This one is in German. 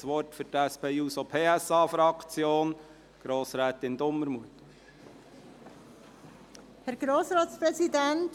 Ich gebe für die SPJUSO-PSA-Fraktion Frau Grossrätin Dumermuth das Wort.